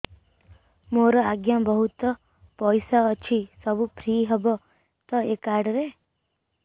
ମୋର ଆଜ୍ଞା ବହୁତ ପଇସା ଅଛି ସବୁ ଫ୍ରି ହବ ତ ଏ କାର୍ଡ ରେ